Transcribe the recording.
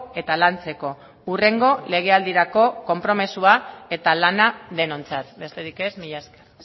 eta lantzeko hurrengo legealdirako konpromisoa eta lana denontzat besterik ez mila esker